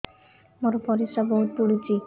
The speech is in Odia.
ମୋର ପରିସ୍ରା ବହୁତ ପୁଡୁଚି